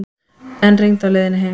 Enn rigndi á leiðinni heim.